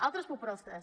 altres propostes